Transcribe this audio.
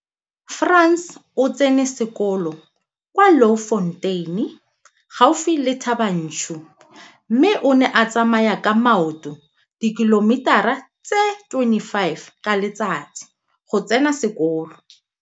Frans o tsene sekolo kwa Louwfontein gaufi le Thaba Nchu mme o ne a tsamaya ka maoto dikilometara tse 25 ka letsatsi go tsena sekolo.